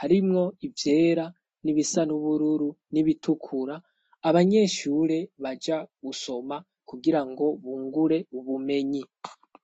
harimwo ivyera n'ibisa n'ubururu n'ibitukura abanyeshure baja gusoma kugira ngo bungure ubumenyi.